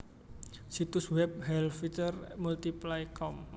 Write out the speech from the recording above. Situs web helvytr multiply com